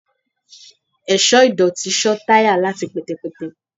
ẹṣọ idotí ṣọ tayá latí pẹtẹpẹtẹ